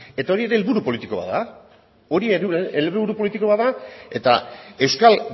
eta hori ere helburu politiko bat da hori ere helburu politiko bat da eta euskal